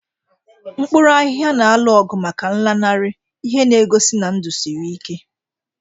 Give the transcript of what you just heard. Mkpuru ahihia na-alụ ọgụ maka nlanarị, ihe na-egosi na ndụ siri ike.